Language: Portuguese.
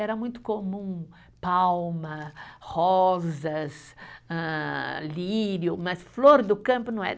Era muito comum palma, rosas, hã lírio, mas flor do campo não era.